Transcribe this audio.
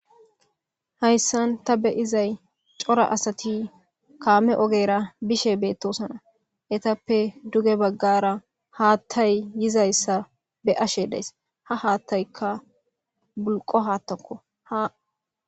hayssan ta be izay cora asati kaame ogera bishe beettosana etappe duge baggara haattay yizayssa be ashe days ha haattaykka bulqo haattakko ha